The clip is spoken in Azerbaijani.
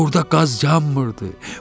Orda qaz yanmırdı.